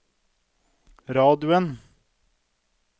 radioen